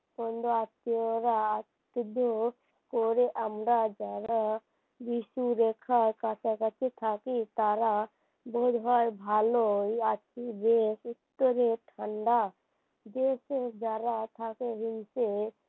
ঋতু রেখার কাছাকাছি থাকি তারা বোধ হয় ভালোই আছি রে উত্তরে ঠান্ডা দেশে যারা থাকে হিংসে